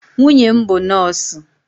Nwunye m bụ nọọsụ.